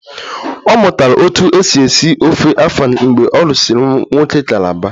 Ọ mụtara otú e si esi ofe afang mgbe ọ lụsịrị nwoke calabar